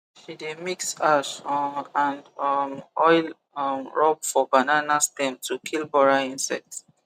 she dey mix ash um and um oil um rub for banana stem to kill borer insect